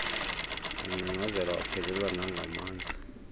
wangcangcazela waphelelwa nangamandla